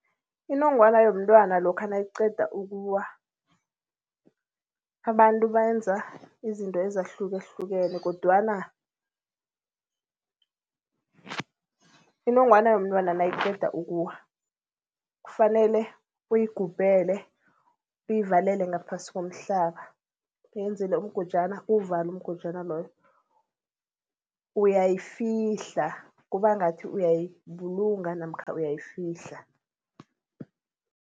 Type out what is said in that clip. Inongwana yomntwana lokha nayiqeda ukuwa, abantu benza izinto ezahlukahlukene kodwana inongwana yomntwana nayiqeda ukuwa kufanele uyigubhele, uyivalele ngaphasi komhlaba, uyenzele umgojana, uwuvale umgojana loyo. Uyayifihla, kuba ngathi uyayibulunga namkha uyayifihla.